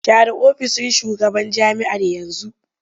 Share ofishin shugaban jami'ar yanzu!